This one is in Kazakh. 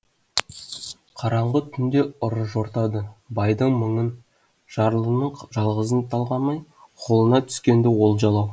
қараңғы түнде ұры жортады байдың мыңын жарлының жалғызын талғамай қолына түскенді олжалау